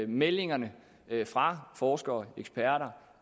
meldingerne fra forskere eksperter